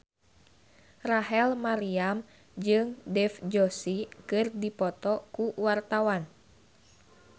Rachel Maryam jeung Dev Joshi keur dipoto ku wartawan